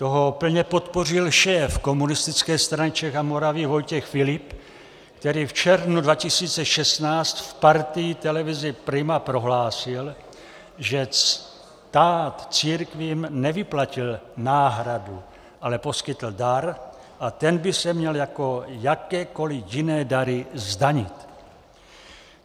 Toho plně podpořil šéf Komunistické strany Čech a Moravy Vojtěch Filip, který v červnu 2016 v Partii televize Prima prohlásil, že stát církvím nevyplatil náhradu, ale poskytl dar a ten by se měl jako jakékoli jiné dary zdanit.